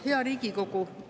Hea Riigikogu!